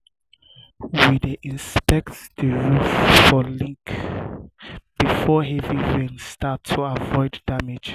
we dey inspect the roof for leaks before heavy rain start to avoid damage.